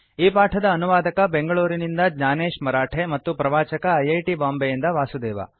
ಈ ಪಾಠದ ಅನುವಾದಕ ಬೆಂಗಳೂರಿನಿಂದ ಜ್ಞಾನೇಶ ಮರಾಠೆ ಮತ್ತು ಪ್ರವಾಚಕ ಐ ಐ ಟಿ ಬಾಂಬೆಯಿಂದ ವಾಸುದೇವ